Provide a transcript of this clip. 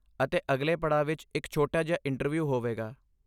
ਅਤੇ ਅਗਲੇ ਪੜਾਅ ਵਿੱਚ ਇੱਕ ਛੋਟਾ ਜਿਹਾ ਇੰਟਰਵਿਊ ਹੋਵੇਗਾ।